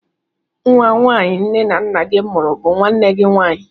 Nwa nwaanyị nne na nna gị mụrụ bụ nwanne gị nwaanyị.